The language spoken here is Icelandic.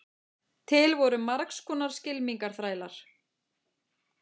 til voru margs konar skylmingaþrælar